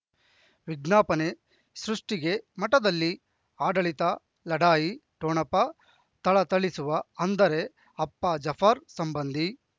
ವಿಜ್ಞಾಪನೆ ಸೃಷ್ಟಿಗೆ ಮಠದಲ್ಲಿ ಆಡಳಿತ ಲಢಾಯಿ ಠೊಣಪ ಥಳಥಳಿಸುವ ಅಂದರೆ ಅಪ್ಪ ಜಾಫರ್ ಸಂಬಂಧಿ